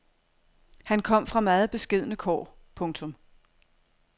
Han kom fra meget beskedne kår. punktum